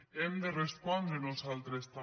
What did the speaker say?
hem de respondre nosaltres també